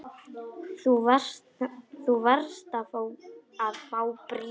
Þú varst að fá bréf.